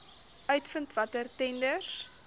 uitvind watter tenders